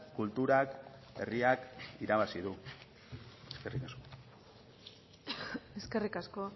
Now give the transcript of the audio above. kulturak herriak irabazi du eskerrik asko